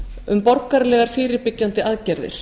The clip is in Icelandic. um borgaralegar fyrirbyggjandi aðgerðir